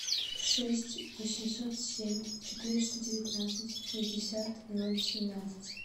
шесть восемьсот семь четыреста девятнадцать шестьдесят ноль семнадцать